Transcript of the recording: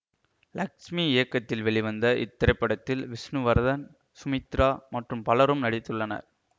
லக்ஸ்மி இயக்கத்தில் வெளிவந்த இத்திரைப்படத்தில் விஷ்ணுவர்த்தன் சுமித்ரா மற்றும் பலரும் நடித்துள்ளனர்